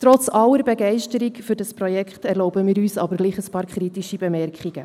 Trotz aller Begeisterung für dieses Projekt erlauben wir uns gleichwohl ein paar kritische Bemerkungen.